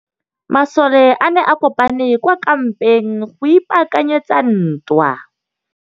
Masole a ne a kopane kwa kampeng go ipaakanyetsa ntwa.